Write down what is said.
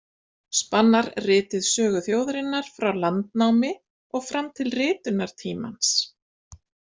Spannar ritið sögu þjóðarinnar frá landnámi og fram til ritunartímans.